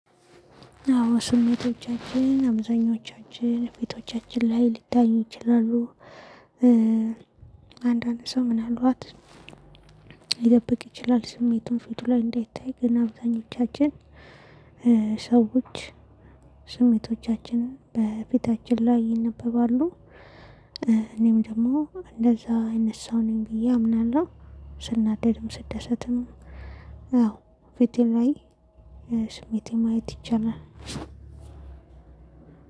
አዎ ስሜቶቻችን አብዛኞቻችን ፊቶቻችን ላይ ሊታዩ ይችላሉ። አንዳንድ ሰው ምን አልባት ይጠብቅ ይችላል። ስሜቱን ፊቱ ላይ እንዳይታይ። ግን አብዛኞቻችን ሰዎች ስሜቶቻችን በፊታችን ላይ ይነበባሉ። እኔም ደግሞ እንደዛ አይነት ሰው ነኝ ብዬ አምናለሁ። ስናደድም ስደሰትም። አዎ ፊቴ ላይ ስሜቴ ማየት ይቻላል።